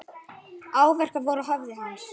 Áverkar voru á höfði hans.